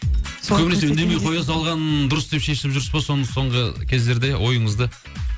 көбінесе үндемей қоя салған дұрыс деп шешіп жүрсіз бе соны соңғы кездерде ойыңызды